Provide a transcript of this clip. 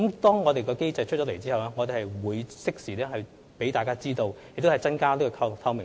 當我們訂立有關通報機制後，會適時向大家公布，以增加透明度。